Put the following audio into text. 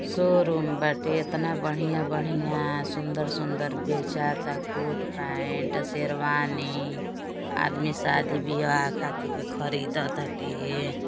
Showroom बाटे इतना बढियां-बढियां सुंदर-सुन्दर बेचाता कोट पेंट शेरवानी आदमी शादी-व्याह खातिर के खरीदताटे।